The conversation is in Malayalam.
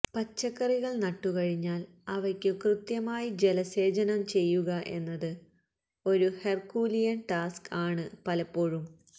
പച്ചക്കറികൾ നട്ടു കഴിഞ്ഞാൽ അവയ്ക്കു കൃത്യമായി ജലസേചനം ചെയ്യുക എന്നത് ഒരു ഹെർക്കൂലിയൻ ടാസ്ക് ആണ് പലപ്പോഴും